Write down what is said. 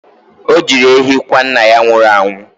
O jiri ehi kwa nna ya nwụrụ anwụ.